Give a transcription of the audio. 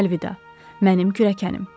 Əlvida, mənim kürəkənim.